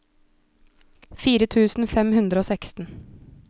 fire tusen fem hundre og seksten